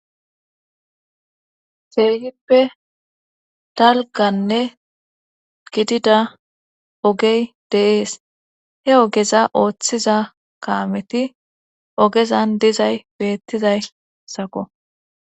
feeyippe dalganne gidida ogey deees he ogeza ooththiza kaameti ogezan dizay beettizay sako